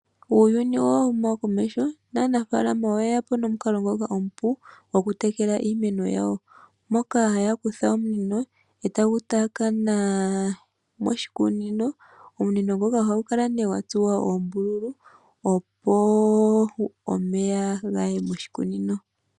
Uuyuni owa huma komesho naanafaalama oyeyapo nomukalo ngoka omupu goku tekela iimeno yawo, moka haya kutha omunino ee ta gu taakana moshikunino. Omunino ngoka oha gu kala gwa tsuwa oombululu opo omeya gaye moshikunino.